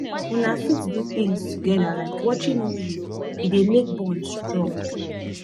una fit do things together like watching movie e dey make bond strong